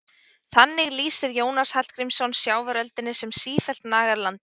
Þannig lýsir Jónas Hallgrímsson sjávaröldunni sem sífellt nagar landið.